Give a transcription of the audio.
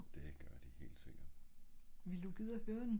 det gør de helt sikkert